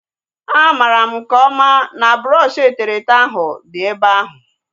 A mara m nke ọma na brọọshi eterete ahu dị ebe ahu